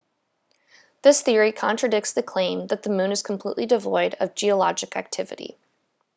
this theory contradicts the claim that the moon is completely devoid of geologic activity